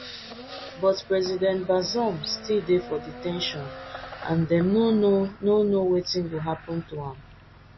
but president bazoum still dey for de ten tion and dem no know no know wetin go happun to am